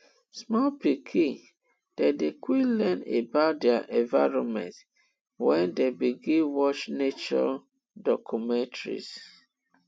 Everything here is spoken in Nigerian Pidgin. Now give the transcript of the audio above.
small pikin dem dey quick learn about dier environment wen dem begin watch nature documentaries